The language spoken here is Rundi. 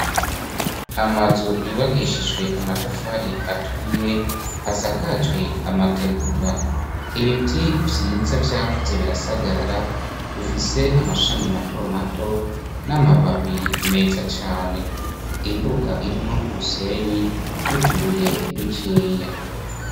Amazu yubakishijwe amatafari aturiye, asakajwe amategura. Ibiti vyiza vyakuze birasagarara, bifise amashami mato mato, n'amababi meza cane. Imbuga irimwo umusenyi, n'utubuye dukeya.